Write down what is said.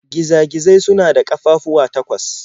Giza-gizai suna da ƙafafuwa takwas.